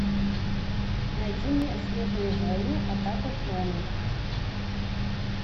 найди мне звездные войны атака клонов